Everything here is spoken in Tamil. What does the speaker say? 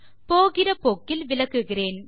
போகிற போக்கில் விளக்குகிறேன்